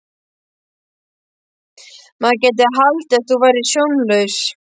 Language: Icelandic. Maður gæti haldið að þú værir sjónlaus!